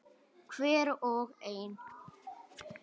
Hver og ein.